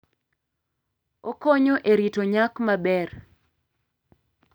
Okonyo e rito nyak maber.